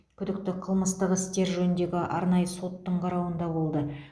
күдікті қылмыстық істер жөніндегі арнайы соттың қарауында болды